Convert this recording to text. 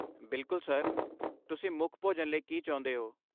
ਬਿਲਕੁਲ, ਸਰ, ਤੁਸੀਂ ਮੁੱਖ ਭੋਜਨ ਲਈ ਕੀ ਚਾਹੁੰਦੇ ਹੋ?